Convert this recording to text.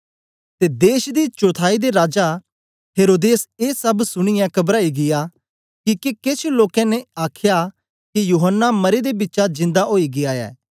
ते देश दी चौथाई दे राजा हेरोदेस ए सब सुनीयै कबराई गीया किके केछ लोकें ने आख्या के यूहन्ना मरे दे बिचा जिन्दा ओई गीया ऐ